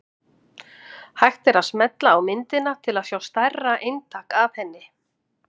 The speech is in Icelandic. Hægt er að smella á myndina til að sjá stærra eintak af henni.